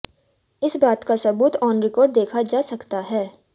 इस बात का सबूत ऑन रिकॉर्ड देखा जा सकता है